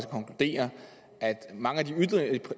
mange af